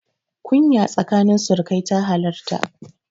Kunya tsakanin surukai ta halarta.